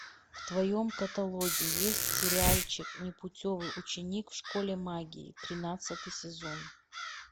в твоем каталоге есть сериальчик непутевый ученик в школе магии тринадцатый сезон